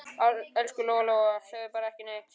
Elsku Lóa-Lóa, segðu bara ekki neitt.